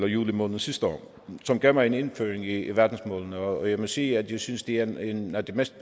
juli måned sidste år som gav mig en indføring i verdensmålene og jeg må sige at jeg synes det er en af de mest